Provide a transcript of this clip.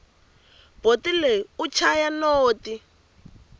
boti loyi u chaya noti